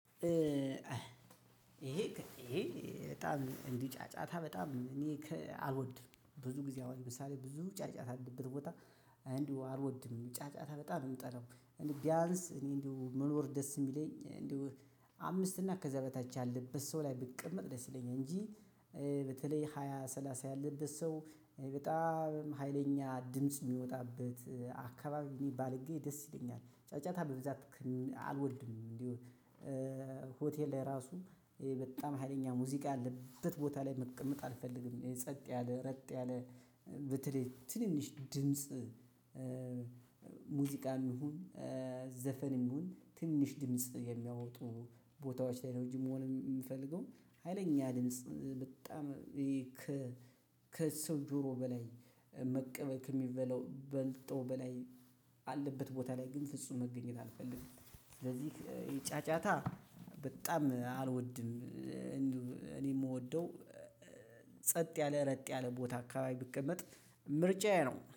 ይሄ ይሄ በጣም እንዲጫጫታ በጣም እኔ አልወድም ብዙ ጊዜ አሁን ለምሳሌ ብዙ ጫጫታ ያለበት ቦታ እንዲሁ አልወድም ጫጫታ በጣም የምጠላው ቢያንስ እኔ እንዲሁ መኖር ደስ የሚለኝ እንደው አምስት እና ከዛ በታች ያለበት ሰው ላይ ብቀመጥ ደስ ይለኛል እንጂ በተለይ ሃያ ሰላሳ ያለበት ሰው በጣም ሀይለኛ ድምጽ የሚወጣበት ባልገኝ ደስ ይለኛል። ጫጫታ በብዛት አልወድም። እንዲሁ ሆቴል ላይ ራሱ በጣም ሀይለኛ ሙዚቃ ያለበት ቦታ ላይ መቀመጥ አልፈልግም። የጸጥ ያለ ረጥ ያለ በተለይ ትንንሽ ድምጽ። ሙዚቃም ይሁን ዘፈንም ይሁን ትንሽ ድምጽ የሚያወጡ ቦታዎች ላይ ነው እንጂ መሆን የምፈልገው። ሀይለኛ ድምጽ በጣም ይሄ ከሰው ጆሮ በላይ መቀበል የሚበላው በልጦ በላይ አለበት ቦታ ላይ ግን ፍጹም መገኘት አልፈልግም። ስለዚህ ጫጫታ በጣም አልወድም። እኔ የምወደው ጸጥ ያለ ረጥ ያለ ቦታ አካባቢ ብቀመጥ ምርጫዬ ነው